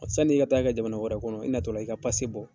Sann'i ka t'a kɛ jamana wɛrɛ kɔnɔ i natɔla i ka bɔ.